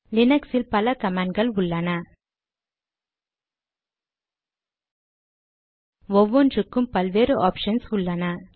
லினக்ஸில் பல கமாண்ட் கள் உள்ளன ஒவ்வொன்றுக்கும் பல வேறு ஆப்ஷன்ஸ் உள்ளன